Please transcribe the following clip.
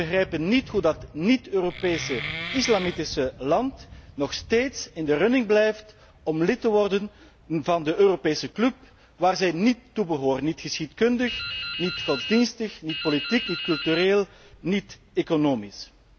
Die begrijpen niet hoe dat niet Europese islamitische land nog steeds in de running blijft om lid te worden van de Europese club, waar zij níet toe behoren, niet geschiedkundig, niet godsdienstig, niet politiek, niet cultureel, niet economisch.